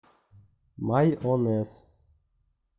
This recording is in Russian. майонез